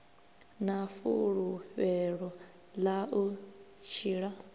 na fulufhelo ḽa u tshila